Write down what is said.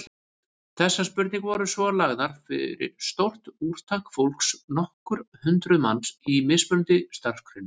Þessar spurningar voru svo lagðar fyrir stórt úrtak fólks, nokkur hundruð manns, í mismunandi starfsgreinum.